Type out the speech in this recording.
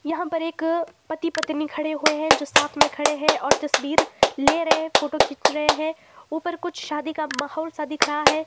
यहां पर एक पति पत्नी खड़े हुए हैं जो साथ में खड़े हैं और तस्वीर ले रहे हैं फोटो खींच रहे हैं ऊपर कुछ शादी का माहौल सा दिख रहा है।